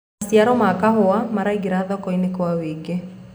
maciaro ma kahũa maraingira thoko-inĩ kwa wũingi